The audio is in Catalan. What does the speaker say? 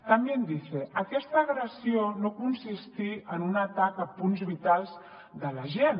también dice aquesta agressió no consistí en un atac a punts vitals de l’agent